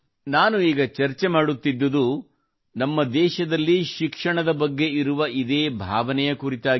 ನಾನು ಈಗ ಚರ್ಚೆ ಮಾಡುತ್ತಿದ್ದುದು ನಮ್ಮ ದೇಶದಲ್ಲಿ ಶಿಕ್ಷಣದ ಬಗ್ಗೆ ಇರುವ ಇದೇ ಭಾವನೆಯ ಕುರಿತಾಗಿ